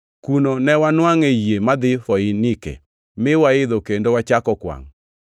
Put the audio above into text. Kuno newanwangʼe yie madhi Foinike, mine waidho kendo wachako kwangʼ.